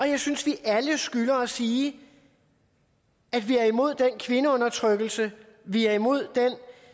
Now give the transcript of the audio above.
jeg synes vi alle skylder at sige at vi er imod den kvindeundertrykkelse vi er imod den